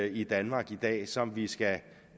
i danmark i dag som vi skal